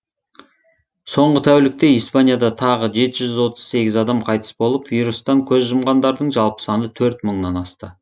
соңғы тәулікте испанияда тағы жеті жүз отыз сегіз адам қайтыс болып вирустан көз жұмғандардың жалпы саны төрт мыңнан асты